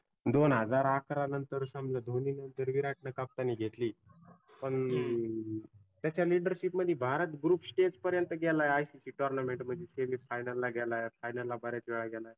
दोन हजार अकराला नंतर समजा धोनी नंतर विराटनं कप्तानी घेतली. पण त्याच्या leadership मध्ये भारत group stage पर्यंत गेला ICC tournament मध्ये final ला गेलाय. final ला बऱ्याच वेळा गेलाय